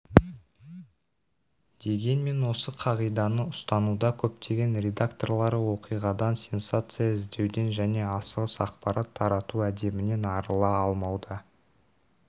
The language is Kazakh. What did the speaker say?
дегенмен осы қағиданы ұстануда көптеген редакторлары оқиғадан сенсация іздеуден және асығыс ақпарат тарату әдебінен арыла алмауда